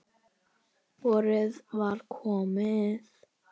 Vorið var komið.